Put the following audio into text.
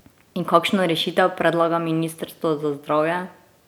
In kakšno rešitev predlaga ministrstvo za zdravje?